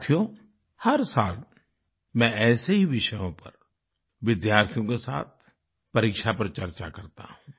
साथियो हर साल मैं ऐसे ही विषयों पर विद्यार्थियों के साथ परीक्षा पर चर्चा करता हूँ